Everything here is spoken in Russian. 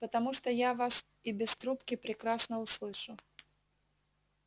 потому что я вас и без трубки прекрасно услышу